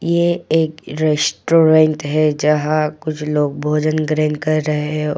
ये एक रेस्टोरेंट है जहां कुछ लोग भोजन ग्रहण कर रहे हैं।